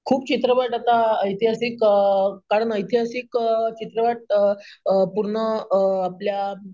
खूप चित्रपट आता ऐतिहासिक, अं चित्रपट अं पूर्ण अं आपल्या